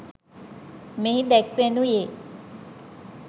මෙහි දැක්වෙනුයේ